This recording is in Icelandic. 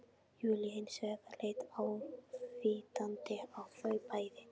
Júlía hins vegar leit ávítandi á þau bæði